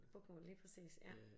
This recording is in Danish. Bokmål lige præcis ja